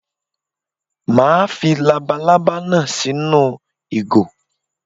Màá fi labalábá náà sínú ìgò